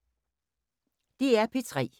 DR P3